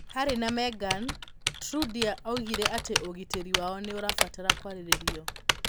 Harry na Meghan: Trudeau oigire atĩ ũgitĩri wao nĩ ũrabatara kwarĩrĩrio